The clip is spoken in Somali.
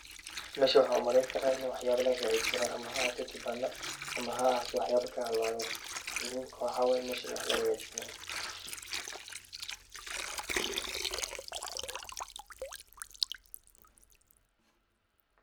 Meshaan waxa umaleyni kara in waxyabo lagahagajisto ama haahato kibanda ama haahato waxyaba kahalaween muhiimka waxa waye meeshan in wax lagahagajisanayo.